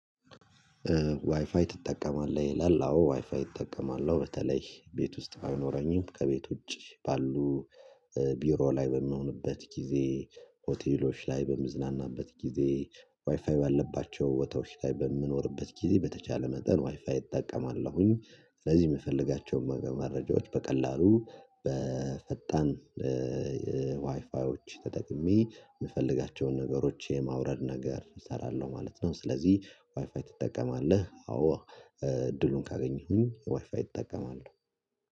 ዋይፋይ ትጠቀማለህ? ሌላው ዋይፋይ እጠቀማለሁ በተለይ ቤት ውስጥ አይኖረኝም ከቤት ውጪ ባሉ ቢሮ ላይ በምሆንበት ጊዜ ሆቴሎች ላይ በምዝናናበት ጊዜ ዋይፋይ ባለባቸው ቦታዎቸ ላይ በምኖርበት ጊዜ በተቻለ መጠን ዋይፋይ እጠቀማለሁኝ ስለዚህ የምፈልጋቸውን መረጃዎች በቀላሉ በፈጣን ዋይፋዎች ተጠቅሜ የምፈልጋቸውን ነገሮች የማውረድ ነገር እሰራለሁ ማለት ነው። ስለዚህ ዋይፋይ ትጠቀማለህ? አዎ እድሉን ካገኘሁኝ ዋይፋይ እጥቀማለሁ።